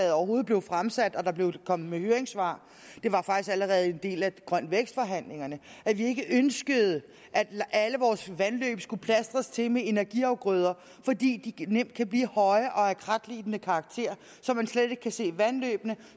overhovedet blev fremsat og der kom høringssvar det var faktisk allerede en del af grøn vækst forhandlingerne at vi ikke ønskede at alle vores vandløb skulle plastres til med energiafgrøder fordi de nemt kan blive høje og af kratlignende karakter så man slet ikke kan se vandløbene